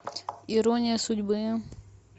ирония судьбы